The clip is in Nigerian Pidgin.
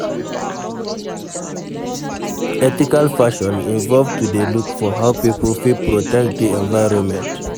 Ethical fashion involve to dey look for how pipo fit protect di environment